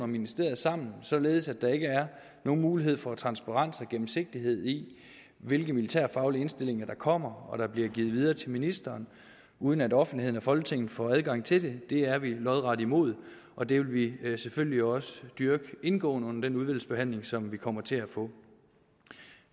ministeriet sammen således at der ikke er nogen mulighed for transparens og gennemsigtighed i hvilke militærfaglige indstillinger der kommer og bliver givet videre til ministeren uden at offentligheden og folketinget får adgang til det er vi lodret imod og det vil vi selvfølgelig også dyrke indgående under den udvalgsbehandling som vi kommer til at få